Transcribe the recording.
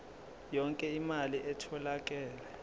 yonke imali etholakele